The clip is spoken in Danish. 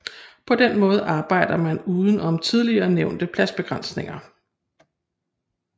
På den måde arbejder man uden om tidligere nævnte pladsbegrænsning